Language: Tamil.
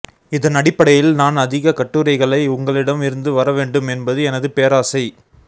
இதன் அடிப்படையில் நான் அதிக கட்டுரைகளை உங்களிடம் இருந்து வர வேண்டும் என்பது எனது பேராசை